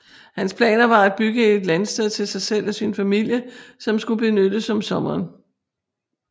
Hans planer var at bygge et landsted til sig selv og sin familie som skulle benyttes om sommeren